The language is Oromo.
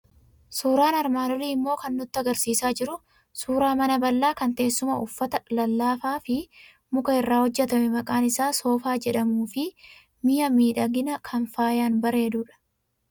Suuraan armaan olii immoo kan inni nutti argisiisaa jiru suuraa mana bal'aa kan teessuma uffata lallaafaa fi muka irraa hojjetame maqaan isaa soofaa jedhamuu fi mi'e miidhaginaa kan faayaan bareedeerudha.